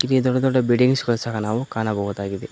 ಇಲ್ಲಿ ದೊಡ್ಡ ದೊಡ್ಡ ಬಿಲ್ಡಿಂಗ್ಸ್ ಗಳು ಸಹ ನಾವು ಕಾಣಬಹುದಾಗಿದೆ.